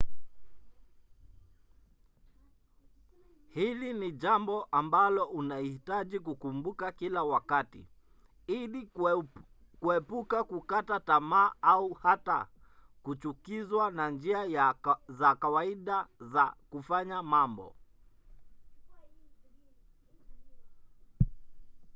hili ni jambo ambalo unahitaji kukumbuka kila wakati ili kuepuka kukata tamaa au hata kuchukizwa na njia za kawaida za kufanya mambo